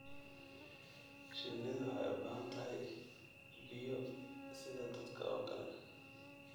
Shinnidu waxay u baahan tahay biyo sida dadka oo kale.